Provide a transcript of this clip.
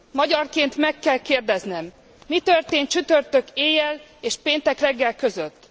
Magyarként meg kell kérdeznem mi történt csütörtök éjjel és péntek reggel között?